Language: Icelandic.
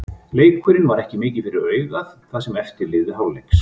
Leikurinn var ekki mikið fyrir augað það sem eftir lifði hálfleiks.